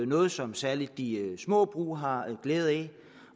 noget som særlig de små brug har glæde af